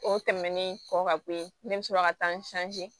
O tɛmɛnen kɔ ka bɔ yen ne bɛ sɔrɔ ka taa n